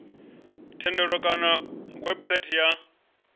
thendelo kana kha website ya